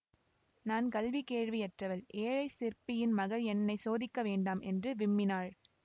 நான் கல்வி கேள்வியற்றவள் ஏழைச் சிற்பியின் மகள் என்னை சோதிக்க வேண்டாம் என்று விம்மினாள்